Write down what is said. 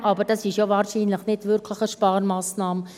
Aber das ist ja wahrscheinlich nicht wirklich eine Sparmassnahme.